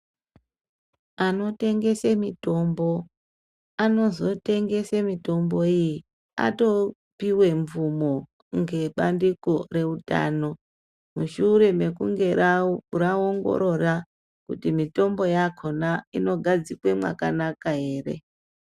Anotengese mitombo anozotengese mitombo iyi atopiwe mvumo ngebandiko reutano, mushure mekunge raongorora kuti mutombo yakona inogadzikwe makanaka ere.